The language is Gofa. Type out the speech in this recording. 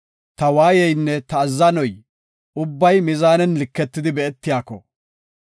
Ta waayeynne ta azzanoy ubbay mizaanen liketidi be7etiyako,